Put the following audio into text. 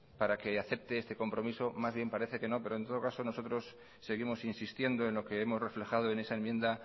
para que acepte este compromiso más bien parece que no pero en todo caso nosotros seguimos insistiendo en lo que hemos reflejado en esa enmienda